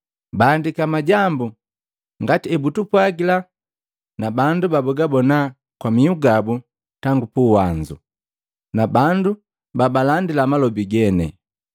Baandiki majambu ngati ebutupwagila na bandu babagabona kwa mihu gabu tangu puwanzu, na bandu babalandila malobi gene.